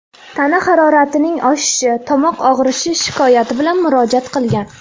tana haroratining oshishi, tomoq og‘rishi shikoyati bilan murojaat qilgan.